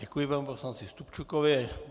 Děkuji panu poslanci Stupčukovi.